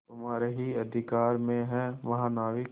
तुम्हारे ही अधिकार में है महानाविक